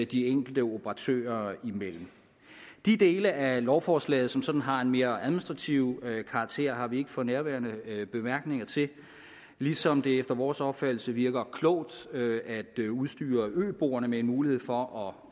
de enkelte operatører imellem de dele af lovforslaget som sådan har en mere administrativ karakter har vi ikke for nærværende bemærkninger til ligesom det efter vores opfattelse virker klogt at udstyre øboerne med en mulighed for at